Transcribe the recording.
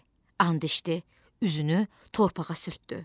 And içdi, üzünü torpağa sürtdü.